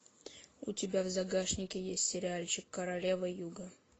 у тебя в загашнике есть сериальчик королева юга